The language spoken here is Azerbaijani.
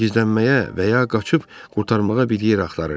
Gizlənməyə və ya qaçıb qurtarmağa bir yer axtarırdı.